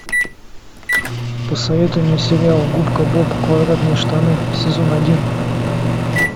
посоветуй мне сериал губка боб квадратные штаны сезон один